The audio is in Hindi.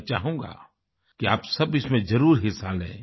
मैं चाहूँगा कि आप सब इसमें जरुर हिस्सा लें